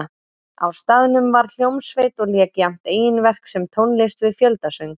Á staðnum var hljómsveit og lék jafnt eigin verk sem tónlist við fjöldasöng.